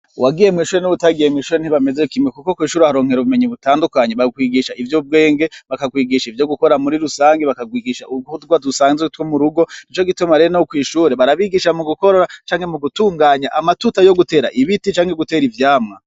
Uwagiye mwishure n'ubutagiye mwishure ntibameze kime kuko kwishura aharonkero bumenyi butandukanye bakwigisha ivyo bwenge bakakwigisha ivyo gukora muri rusange bakagwigisha urguhutwa dusanzwe two mu rugo ico gitoma rire no kwishure barabigisha mu gukorra cange mu gutunganya amatuta yo gutera ibiti cangwe gutera ivyamwa.